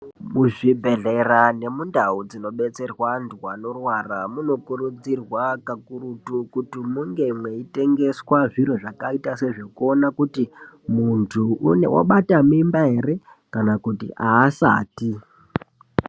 Muzvibhedhlera nemundau dzinobetserwa antu anorwara. Munokurudzirwa kakurutu kuti munge mweitengeswa zviro zvakaita sezvekuona kuti muntu abata mimba ere, kana kuti haasati.